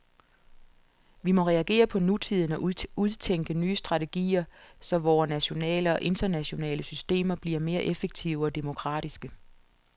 Vi må reagere på nutiden og udtænke nye strategier, så vore nationale og internationale systemer bliver mere effektive og demokratiske.